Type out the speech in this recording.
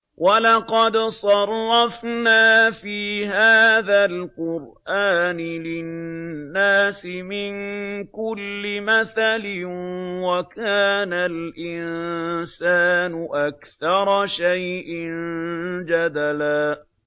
وَلَقَدْ صَرَّفْنَا فِي هَٰذَا الْقُرْآنِ لِلنَّاسِ مِن كُلِّ مَثَلٍ ۚ وَكَانَ الْإِنسَانُ أَكْثَرَ شَيْءٍ جَدَلًا